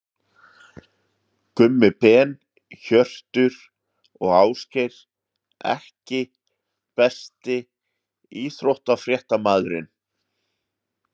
Gummi Ben, Hjörtur og Ásgeir EKKI besti íþróttafréttamaðurinn?